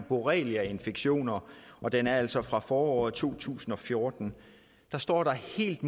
borreliainfektioner og den er altså fra foråret to tusind og fjorten der står der helt